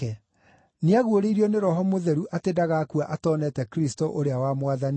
Nĩaguũrĩirio nĩ Roho Mũtheru atĩ ndagakua atoneete Kristũ ũrĩa wa Mwathani.